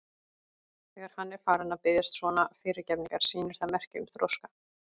Þegar hann er farinn að biðjast svona fyrirgefningar sýnir það merki um þroska.